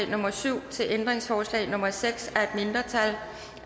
nummer syv til ændringsforslag nummer seks